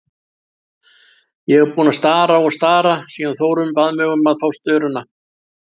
Ég er búin að stara og stara síðan Þórunn bað mig um að fá störuna.